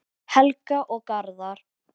Helga og Garðar.